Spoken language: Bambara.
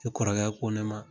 E kɔrɔkɛ ko ne ma